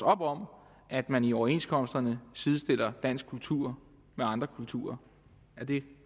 op om at man i overenskomsterne sidestiller dansk kultur med andre kulturer er det